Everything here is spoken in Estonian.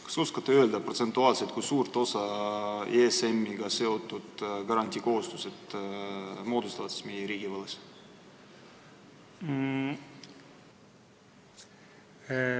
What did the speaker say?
Kas oskate öelda, kui suure osa ESM-iga seotud garantiikohustused protsentuaalselt meie riigivõlast moodustavad?